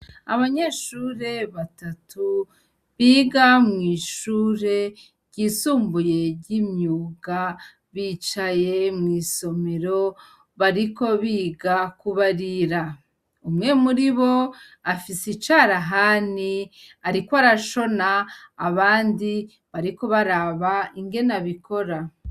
Abanyeshure batatu biga mw'ishure ryisumbuye ry'imyuga bicaye mw'isomero bariko biga kubarira, umwe muri bo afise icarahani ariko arashona abandi bariko baraba ingene abikora.